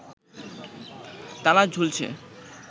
তালা ঝুলছে